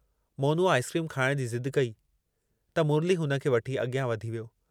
मोनूअ आइसक्रीम खाइण जी ज़िद कई, त मुरली हुन खे वठी अॻियां वधी वियो।